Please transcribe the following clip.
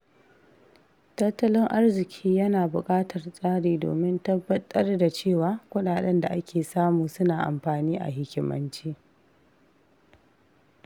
Tattalin arziki yana buƙatar tsari domin tabbatar da cewa kuɗaɗen da ake samu suna amfani a hikimance.